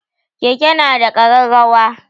Keke na da ƙararrawa.